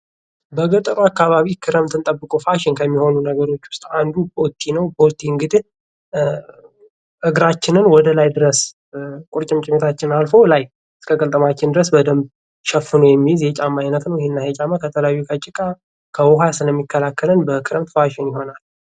በገጠሩ አካባቢ ክረምትን ጠብቆ ፋሽን ከሚሆኑ ነገሮች አንዱ ቦቲ ነው። ቦቲ እንግድህ እግራችንን ወደላይ ድረስ ቁርጭምጭሚት አልፎ ከላይ እስከ ቅልጥማችን በደንብ ሸፍኖ የሚይዝ የጫማ አይነት ነው። እና ይሄ ጫማ ከተለያዩ ከጭቃ ከዉሃ ስለሚከላከለን በክረምት ፋሽን ይሆናል።